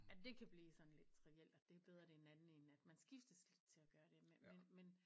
At det kan blive sådan lidt trivielt at det er bedre det er en anden en at man skiftes lidt til at gøre det men men